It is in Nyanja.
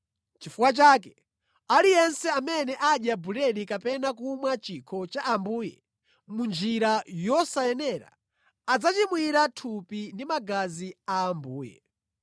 Chifukwa chake, aliyense amene adya buledi kapena kumwa chikho cha Ambuye mʼnjira yosayenera adzachimwira thupi ndi magazi a Ambuye.